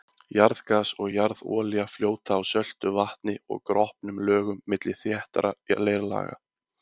Jarðgas og jarðolía fljóta á söltu vatni og gropnum lögum milli þéttra leirlaga.